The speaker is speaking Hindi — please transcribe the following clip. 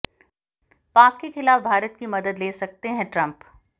पाक के खिलाफ भारत की मदद ले सकते हैं ट्रंप